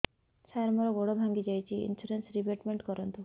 ସାର ମୋର ଗୋଡ ଭାଙ୍ଗି ଯାଇଛି ଇନ୍ସୁରେନ୍ସ ରିବେଟମେଣ୍ଟ କରୁନ୍ତୁ